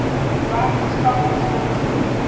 writers from wisconsin